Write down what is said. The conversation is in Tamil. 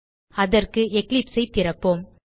அதற்கு எக்லிப்ஸ் ஐ திறப்போம்